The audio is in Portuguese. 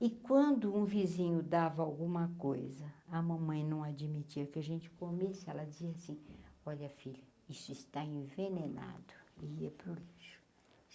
E quando um vizinho dava alguma coisa, a mamãe não admitia que a gente comesse, ela dizia assim, olha, filha, isso está envenenado e ia para o lixo.